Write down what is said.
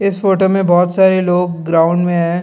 इस फोटो में बहुत सारे लोग ग्राउंड में हैं।